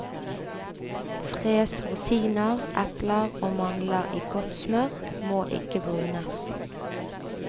Fres rosiner, epler og mandler i godt smør, må ikke brunes.